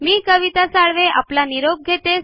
मी कविता साळवे आपला निरोप घेते